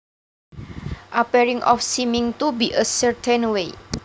appearing or seeming to be a certain way